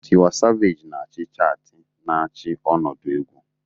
Tiwa Savage na-achị chaatị, na-achị ọnọdụ egwu.